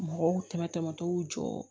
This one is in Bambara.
Mɔgɔw tɛmɛtɔw jɔ